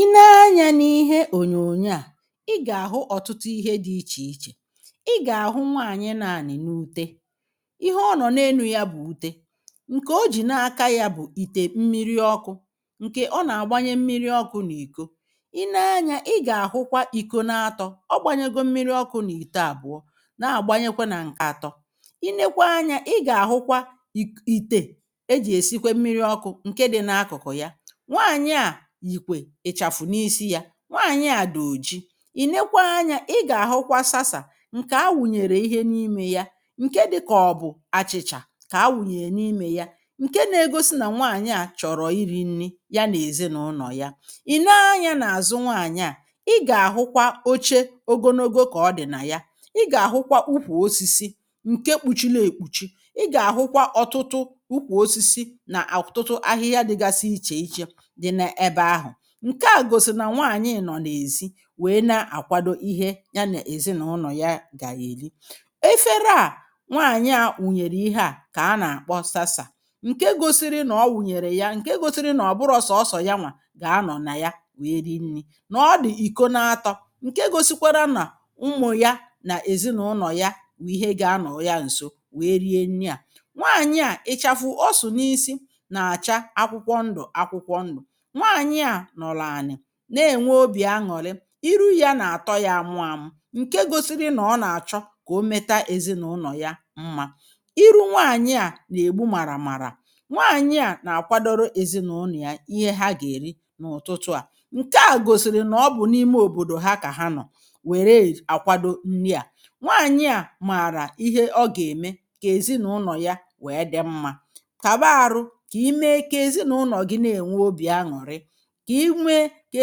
I nee anyȧ n’ihe ọ̀nyọ̀nyọ a i ga-ahụ ọ̀tụtụ ihe dị̇ iche iche i ga-ahụ nwaanyị na-anị̀ n’ụte ihe ọ nọ̀ n’enụ̀ ya bụ̀ ụte nke ọ jì na-aka ya bụ̀ ìte mmiri ọkụ̇ nke ọ na-agbanye mmiri ọkụ̇ n’ìkọ i nee anyȧ ị ga-ahụkwa ìkọ n’atọ̇, ọ gbȧnyegọ mmiri ọkụ̇ n’ìte abụọ na-agbanyekwa na nke atọ̇. I nekwa anyȧ ị ga-ahụkwa ì ìte e jì esikwe mmiri ọkụ̇ nke dị n’akụ̀kụ̀ ya. Nwaanyị a yikwe ichafụ n’isi ya, Nwaanyị a dị̀ ọ̀ji ì nekwa anyȧ ị ga-ahụkwa sasa nke a wụ̀nyere ihe n’imė ya nke dịka ọ̀ bụ̀ achị̇cha ka a wụ̀nyere n’imė ya nke na-egọsi na nwaanyị a chọ̀rọ̀ iri̇ nni̇ ya na ezinaụnọ̀ ya. I nee anyȧ n’azụ nwaanyị a ị ga-ahụkwa ọche ọgọnọgọ ka ọ dị̀ na ya ị ga-ahụkwa ụkwụ̀ ọsisi nke kpụ̀chili ekpụ̀chi. I ga-ahụkwa ọ̀tụtụ ụkwụ̀ ọsisi na ọtụtụ ahịhịa dịgasị iche iche dị n’ebe ahụ. Nke a gọ̀sìrì na nwaanyị nọ̀ n’ezi wee na-akwadọ ihe ya na ezinaụnọ̀ ya ga eli. Efere a nwaanyị a wụ̀nyere ihe a ka a na akpọ sasa nke gọsi ri nọ̀ ọ wụ̀nyere ya nke gọsi nri nọ̀ ọ̀bụrọ̀ sọ̀sọ̀ yanwa ga anọ̀ na ya wee ri nni̇ nọ̀ dị̀ ìkọ̀ naatọ̇ nke gọsikwara na ụmụ̀ ya na ezinaụnọ̀ ya wụ ihe ga anọ̀rọ ya nsọ wee rie nni a nwaanyị a ịchafụ ọsụ̀ n’isi na acha akwụkwọ ndụ̀ akwụkwọ ndụ̀. Nwaanyị a nọlụ ani na-enwe ọbì añụ̀rị irụ ya n’atọ ya amụ amụ nke gọsiri na ọ na-achọ ka ọ metaa ezinụlọ̀ ya mmȧ irụ nwaanyị a na-egbụ mara mara nwaanyị a na-akwadọrọ ezinụnọ̀ ya ihe ha ga-eri n’ụ̀tụtụ a nke a gọ̀sìrì na ọ bụ̀ n’ime ọ̀bọ̀dọ̀ ha ka ha nọ̀ nwere akwadọ nni a nwaanyị a maara ihe ọ ga-eme ka ezinụnọ̀ ya wee dị mmȧ kaba arụ ka ime ka ezinụnọ̀ gị na-enwe ọbì añụ̀rị ka imė ka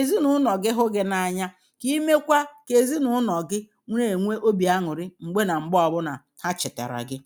ezinaụnọ̀ gi hụ gi n’anya, ka imekwa ka ezinaụnọ̀ gị̀ na enwee enwe ọbì añụ̀rì mgbe na mgbe ọbụ̀ na ha chetara gị̀